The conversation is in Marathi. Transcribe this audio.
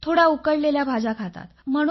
थोड्या उकडलेल्या भाज्या खातात